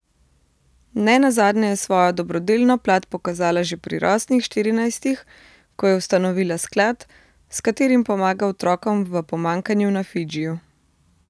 Ne nazadnje je svojo dobrodelno plat pokazala že pri rosnih štirinajstih, ko je ustanovila sklad, s katerim pomaga otrokom v pomanjkanju na Fidžiju.